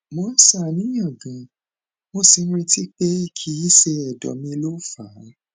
mo ń ṣàníyàn ganan mo sì ń retí pé kìí ṣe ẹdọ mi ló fà á